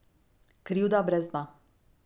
Krivda brez dna.